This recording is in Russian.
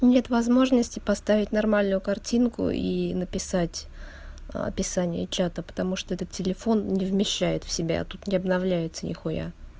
нет возможности поставить нормальную картинку и написать описание чата потому что этот телефон не вмещает в себя тут не обновляется нехуя